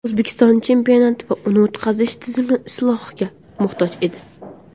O‘zbekiston chempionati va uni o‘tkazish tizimi islohga muhtoj edi.